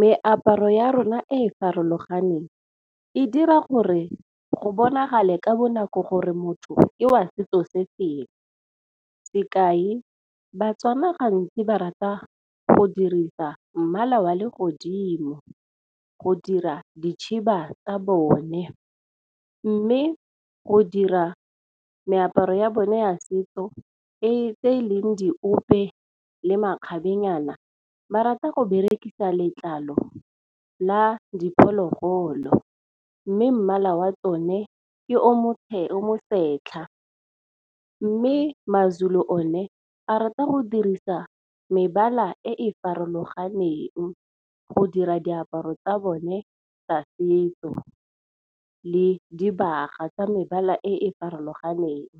Meaparo ya rona e e farologaneng, e dira gore go bonagale ka bonako gore motho ke wa setso se sefeng. Sekai Batswana gantsi ba rata go dirisa mmala wa legodimo, go dira dikhiba tsa bone. Mme go dira meaparo ya bone ya setso tse e leng diope le makgabenyana ba rata go berekisa letlalo la diphologolo, mme mmala wa tsone ke o motlheng mosetlha. Mme maZulu o ne a rata go dirisa mebala e e farologaneng go dira diaparo tsa bone tsa setso le dibaga tsa mebala e e farologaneng.